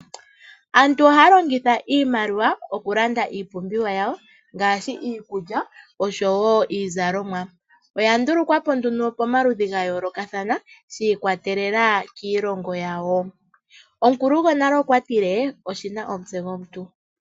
Aantu ohaalongitha iimaliwa okulanda iipumbiwa yawo ngashi iikulya nosho woo iizalomwa. Iimaliwa oya ndulukwa nduno pomaludhi gayolokathana shiikwatelela kiilongo yawo. Omukulu gwonale okwa tile oshina omutse gwomuntu.